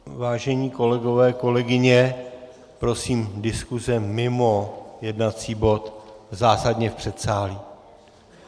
Vážení kolegové, kolegyně, prosím diskuse mimo jednací bod zásadně v předsálí.